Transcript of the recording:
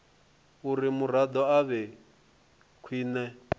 uri muraḓo a vhe khwine